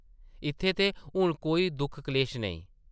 इत्थैं ते हून कोई दुख-कलेश नेईं ।